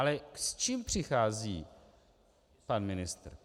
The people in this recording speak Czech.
Ale s čím přichází pan ministr?